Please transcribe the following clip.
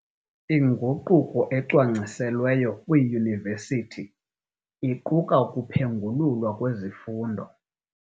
Inguquko ecwangciselweyo kwiiyunivesithi iquka ukuphengululwa kwezifundo.